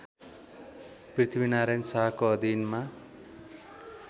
पृथ्वीनारायण शाहको अधिनमा